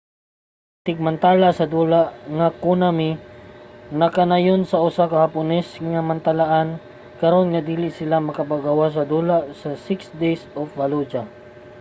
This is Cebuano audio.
ang tigmantala sa dula nga konami nagkanayon sa usa ka hapones nga mantalaan karon nga dili sila magpagawas sa dula nga six days in fallujah